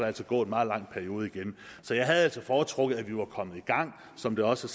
altså gå en meget lang periode igen så jeg havde altså foretrukket at vi var kommet i gang som det også